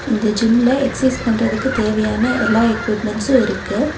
இந்த ஜிம்ல எக்சைஸ் பண்றதுக்கு தேவையான எல்லா எக்யூப்மெண்ட்ஸு இருக்கு.